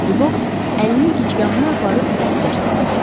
Dübəks əlini gicgahına aparıb əsgər salamı verdi.